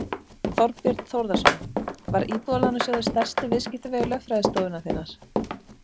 Þorbjörn Þórðarson: Var Íbúðalánasjóður stærsti viðskiptavinur lögfræðistofunnar þinnar?